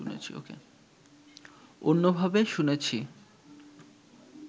অন্যভাবে শুনেছি